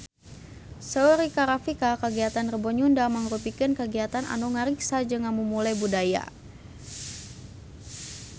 Saur Rika Rafika kagiatan Rebo Nyunda mangrupikeun kagiatan anu ngariksa jeung ngamumule budaya Sunda